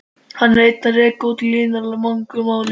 Hann er enn að reikna út líkurnar í máli